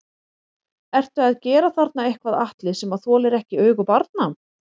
Ertu að gera þarna eitthvað Atli sem að þolir ekki augu barna?